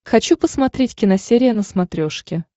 хочу посмотреть киносерия на смотрешке